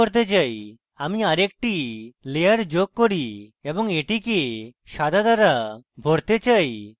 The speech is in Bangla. আমি আরেকটি layer যোগ করি এবং এটিকে সাদা দ্বারা ভরতে চাই